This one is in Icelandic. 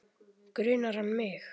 Grunar hann mig?